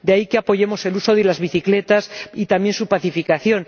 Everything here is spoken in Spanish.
De ahí que apoyemos el uso de las bicicletas y también su pacificación.